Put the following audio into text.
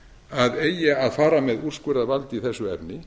að eigi að fara með úrskurðarvald í þessu efni